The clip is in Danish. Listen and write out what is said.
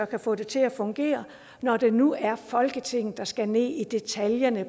kan få det til at fungere når det nu er folketinget der skal ned i detaljerne